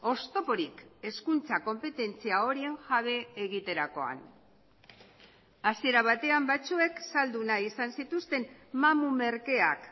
oztoporik hezkuntza konpetentzia horien jabe egiterakoan hasiera batean batzuek saldu nahi izan zituzten mamu merkeak